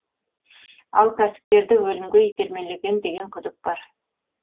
ал кәсіпкерді өлімге итермелеген деген күдік бар